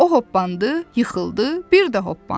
O hoppandı, yıxıldı, bir də hoppandı.